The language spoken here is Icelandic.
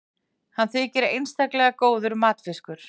hann þykir einstaklega góður matfiskur